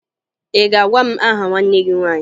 Ị ga-agwa m aha nwanne gị nwaanyị!